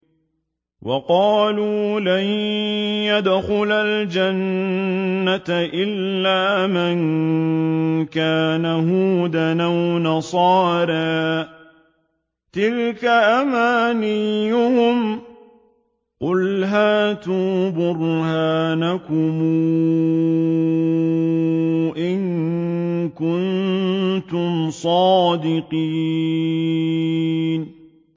وَقَالُوا لَن يَدْخُلَ الْجَنَّةَ إِلَّا مَن كَانَ هُودًا أَوْ نَصَارَىٰ ۗ تِلْكَ أَمَانِيُّهُمْ ۗ قُلْ هَاتُوا بُرْهَانَكُمْ إِن كُنتُمْ صَادِقِينَ